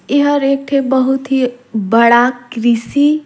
एहर एक ठी बहुत ही बड़ा कृषि--